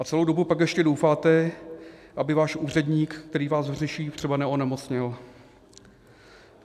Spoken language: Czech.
A celou dobu pak ještě doufáte, aby váš úředník, který vás řeší, třeba neonemocněl.